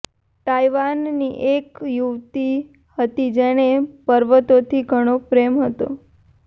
તાઈવાનની એક યુવતી હતી જેને પર્વતોથી ઘણો પ્રેમ હતો